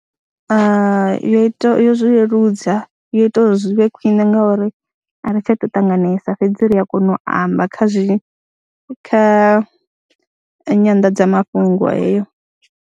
Yo ita yo zwi leludza, yo ita uri zwi vhe khwine ngauri a ri tsha tou ṱanganesa fhedzi ri a kona u amba kha zwi kha nyanḓadzamafhungo heyo.